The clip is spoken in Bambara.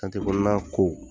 kɔnɔna ko